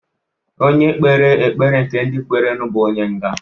Onye kpere ekpere nke ndị kwerenu bụ onye nga.